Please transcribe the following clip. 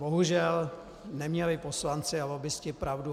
Bohužel, neměli poslanci a lobbisté pravdu.